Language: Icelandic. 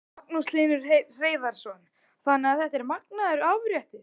Magnús Hlynur Hreiðarsson: Þannig að þetta er magnaður afréttur?